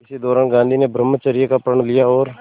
इसी दौरान गांधी ने ब्रह्मचर्य का प्रण लिया और